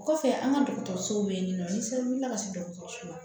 O kɔfɛ an ka dɔgɔtɔrɔsow bɛ yen nɔ ni se wulila ka se dɔgɔtɔrɔso la